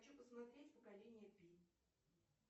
хочу посмотреть поколение пи